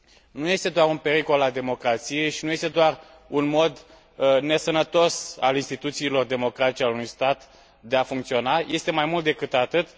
Nu este doar un pericol al democrației și nu este doar un mod nesănătos al instituțiilor democratice ale unui stat de a funcționa, este mai mult decât atât.